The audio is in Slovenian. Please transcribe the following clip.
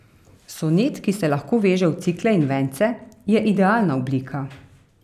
Sonet, ki se lahko veže v cikle in vence, je idealna oblika.